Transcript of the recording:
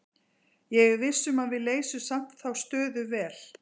Ég er viss um að við leysum samt þá stöðu vel.